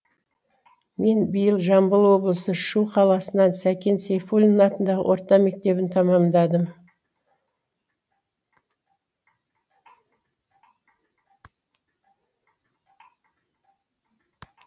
мен биыл жамбыл облысы шу қаласының сәкен сейфуллин атындағы орта мектебін тәмамдадым